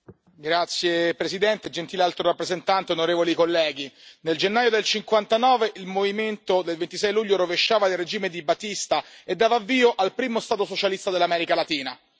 Signor Presidente, signora Alto rappresentante, onorevoli colleghi, nel gennaio del 1959 il movimento del 26 luglio rovesciava il regime di Batista e dava avvio al primo Stato socialista dell'America Latina.